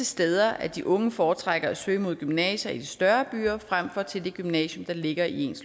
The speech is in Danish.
steder at de unge foretrækker at søge mod gymnasier i de større byer frem for til det gymnasium der ligger i